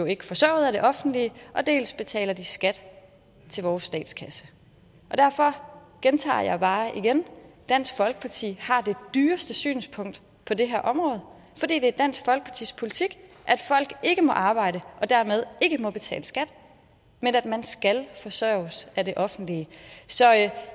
ikke forsørget af det offentlige dels betaler de skat til vores statskasse derfor gentager jeg bare dansk folkeparti har det dyreste synspunkt på det her område fordi det er dansk folkepartis politik at folk ikke må arbejde og dermed ikke må betale skat men at man skal forsørges af det offentlige så